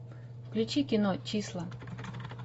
включи кино числа